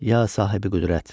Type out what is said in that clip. Ya sahibi qüdrət.